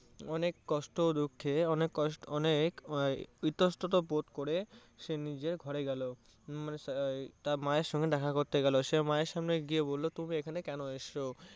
অনেক কষ্টে দুঃখে, অনেক ইতস্তত বোধ করে সে নিজের ঘরে গেলো উম তার মায়ের সাথে দেখা করতে গেলো। সে মায়ের সামনে গিয়ে বললো তুমি এখানে কেন এসছো?